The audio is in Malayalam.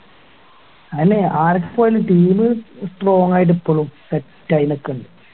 അയന്നെ ആരൊക്കെ പോയാലും team strong ആയി ഇപ്പളും set ആയി നിക്കണിണ്ട്